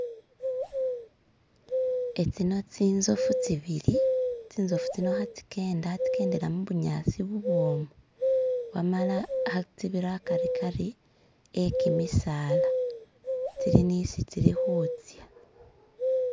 etsino tsinzofu tsibili tsinzofu tsino ha tsikenda, tsikendela mubunyasi bubwomu wamala tsibira akarikari ekimisaala tsili nisi tsilihutsya